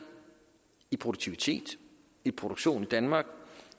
i produktivitet i produktion i danmark